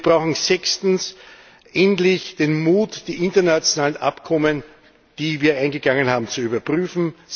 Und wir brauchen sechstens endlich den Mut, die internationalen Abkommen, die wir eingegangen sind, zu überprüfen.